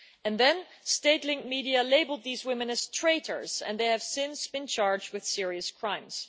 Then, state linked media labelled these women as traitors, and they have since been charged with serious crimes.